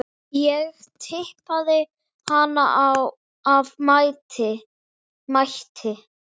Ég tippaði hana af mætti.